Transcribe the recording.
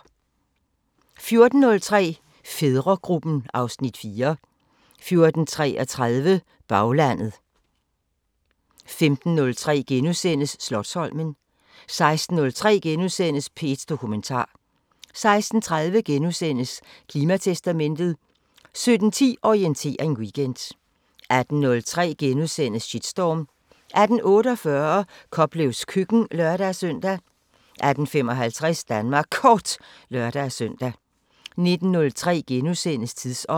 14:03: Fædregruppen (Afs. 4) 14:33: Baglandet 15:03: Slotsholmen * 16:03: P1 Dokumentar * 16:30: Klimatestamentet * 17:10: Orientering Weekend 18:03: Shitstorm * 18:48: Koplevs køkken (lør-søn) 18:55: Danmark Kort (lør-søn) 19:03: Tidsånd *